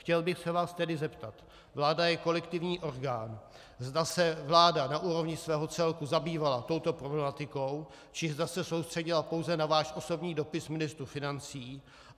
Chtěl bych se vás tedy zeptat - vláda je kolektivní orgán - zda se vláda na úrovni svého celku zabývala touto problematikou, či zda se soustředila pouze na váš osobní dopis ministru financí.